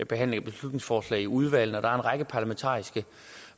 behandle et beslutningsforslag i udvalgene og en række parlamentariske